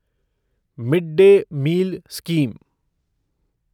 mid day meal scheme